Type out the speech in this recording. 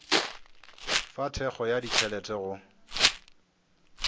fa thekgo ya ditšhelete go